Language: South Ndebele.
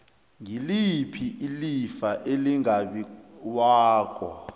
ngiliphi ilifa elingabiwako